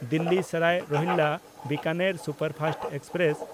Delhi Sarai Rohilla Bikaner superfast express